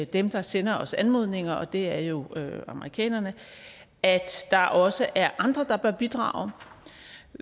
dem der sender os anmodninger og det er jo amerikanerne at der også er andre der bør bidrage